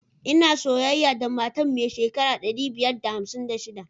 Ina soyayya da matar mai shekara ɗari biyar da hamsin da shiɗa.